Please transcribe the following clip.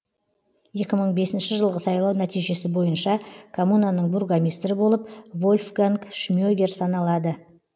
екі мың бесінші жылғы сайлау нәтижесі бойынша коммунаның бургомистрі болып вольфганг шмегер саналады